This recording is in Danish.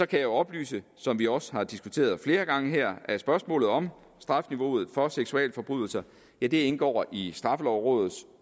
kan jeg oplyse som vi også har diskuteret flere gange her at spørgsmålet om strafniveauet for seksualforbrydelser indgår i straffelovrådets